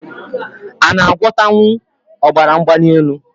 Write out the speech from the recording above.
A na agwota nwu ọbara mgbanelu?